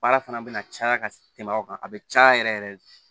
Baara fana bɛna caya ka tɛmɛ aw kan a bɛ caya yɛrɛ yɛrɛ